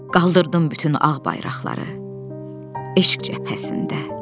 Qaldırdım bütün ağ bayraqları eşq cəbhəsində.